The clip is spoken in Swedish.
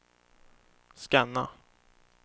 scanna